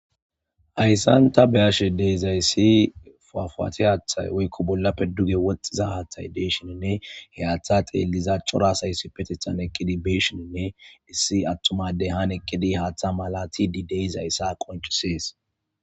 hayssan ta beyashe deeizayssi fuafaaate haaththay woykko bolla pedduge woxxiza haaththay deeshininne heyaththa xeelliza cora asaysi petithan eqqidi beshininne issi attumadey han eqqidi haaththa malati dideyzayssa qoncisees